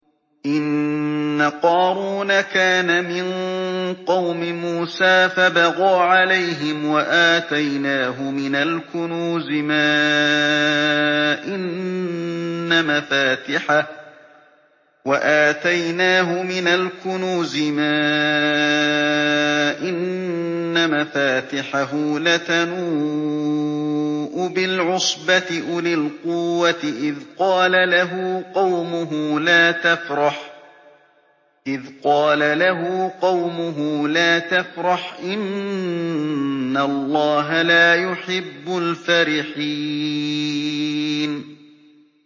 ۞ إِنَّ قَارُونَ كَانَ مِن قَوْمِ مُوسَىٰ فَبَغَىٰ عَلَيْهِمْ ۖ وَآتَيْنَاهُ مِنَ الْكُنُوزِ مَا إِنَّ مَفَاتِحَهُ لَتَنُوءُ بِالْعُصْبَةِ أُولِي الْقُوَّةِ إِذْ قَالَ لَهُ قَوْمُهُ لَا تَفْرَحْ ۖ إِنَّ اللَّهَ لَا يُحِبُّ الْفَرِحِينَ